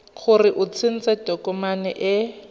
gore o tsentse tokomane e